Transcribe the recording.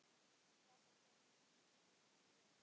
Platan seldist feikna vel.